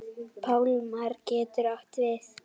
Pálmar getur átt við